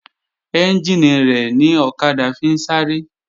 Ẹ́njìnì rẹ̀ ni ọ̀kadà fi ń sáré